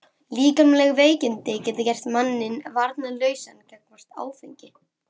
Líkamleg veikindi geta gert manninn varnarlausan gagnvart áfengi.